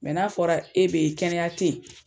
Mɛ n'a fɔra e be ye kɛnɛya te ye